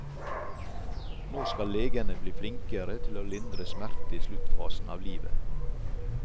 Nå skal legene bli flinkere til å lindre smerte i sluttfasen av livet.